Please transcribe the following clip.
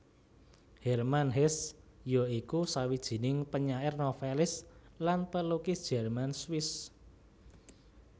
Hermann Hesse ya iku sawijining penyair novelis lan pelukis Jerman Swiss